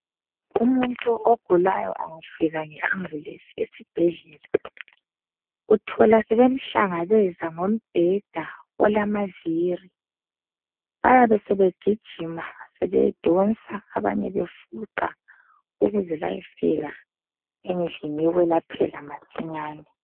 Umuntu ogulayo engafika nge ambulensi esibhedlela. Uthola sebemhlangabeza ngobheda olamavili bayabe sebegijima sebedonsa abanye befunqwa ukuze beyefika endlini yokulaphela masinyane.